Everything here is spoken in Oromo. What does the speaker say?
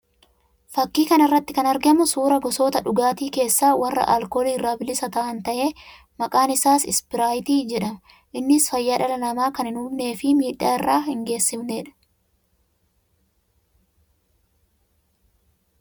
Fakkii kana irratti kan argamu suuraa gosoota dhugaatii keessaa warra alkoolii irraa bilisa tahan ta'ee; maqaan isaas ispiraayitii jedhama. Innis fayyaa dhala namaa kan hin hubnee fi miidhaa irra hin geessifnee dha.